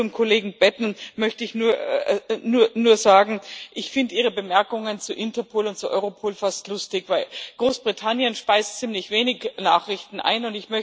Zum Kollegen Batten möchte ich nur sagen Ich finde Ihre Bemerkungen zu Interpol und zu Europol fast lustig, weil Großbritannien ziemlich wenig Nachrichten einspeist.